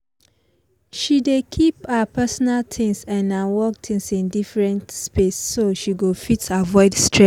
she dey keep her personal things and her work things in deferent space so she go fit avoid stress